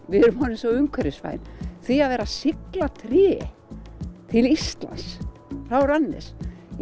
við erum orðin svo umhverfisvæn því að vera að sigla tré til Íslands frá Randers